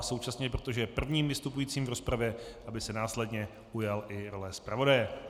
A současně, protože je prvním vystupujícím v rozpravě, aby se následně ujal i role zpravodaje.